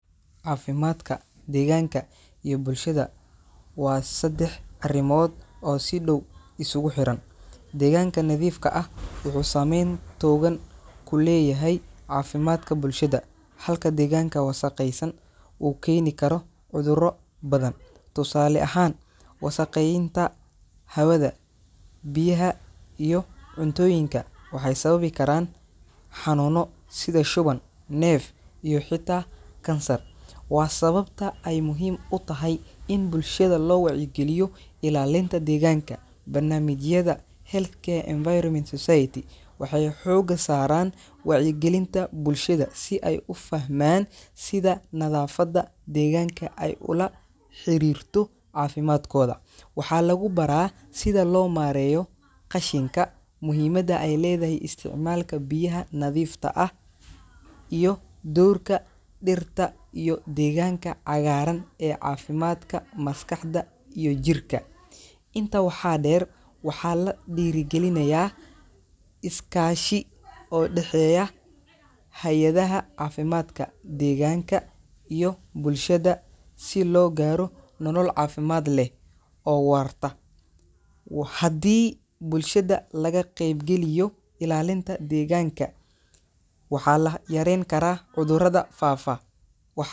Caafimaadka, deegaanka, iyo bulshada waa saddex arrimood oo si dhow isugu xiran. Deegaanka nadiifka ah wuxuu saameyn togan ku leeyahay caafimaadka bulshada, halka deegaanka wasakhaysan uu keeni karo cudurro badan. Tusaale ahaan, wasakheynta hawada, biyaha, iyo cuntooyinka waxay sababi karaan xanuunno sida shuban, neef, iyo xitaa kansar. Waa sababta ay muhiim u tahay in bulshada loo wacyigeliyo ilaalinta deegaanka. Barnaamijyada healthcare environment society waxay xooga saaraan wacyigelinta bulshada si ay u fahmaan sida nadaafadda deegaanka ay ula xiriirto caafimaadkooda. Waxaa lagu baraa sida loo maareeyo qashinka, muhiimadda ay leedahay isticmaalka biyaha nadiifta ah, iyo doorka dhirta iyo deegaanka cagaaran ee caafimaadka maskaxda iyo jirka. Intaa waxaa dheer, waxaa la dhiirrigeliyaa iskaashi o dhexeeya hay’adaha caafimaadka, deegaanka, iyo bulshada si loo gaaro nolol caafimaad leh oo waarta. wa Haddii bulshada laga qeybgeliyo ilaalinta deegaanka, waxaa la yareyn karaa cudurrada faafa wax.